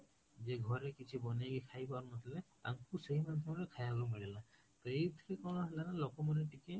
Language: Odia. ଯିଏ ଘରେ କିଛି ବାନେଇକି ଖାଇ ପାରୁନଥିଲେ ତାଙ୍କୁ ସେଇ ମଧ୍ୟରେ ଖାଇବାକୁ ମିଳିଲା, ତ ଏଇଥିରେ କଣ ହେଲା ନା ଲୋକ ମାନେ ଟିକେ